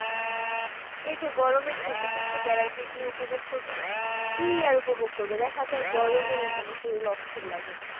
এই যে গরমের ছুটিতে একটু বেড়াইতে গিয়ে উপভোগ করব কি আর উপভোগ করব দেখা যায় গরমই মানে শরীর অস্থির লাগে।